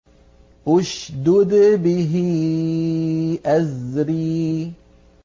اشْدُدْ بِهِ أَزْرِي